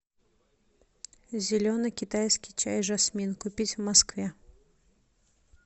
зеленый китайский чай жасмин купить в москве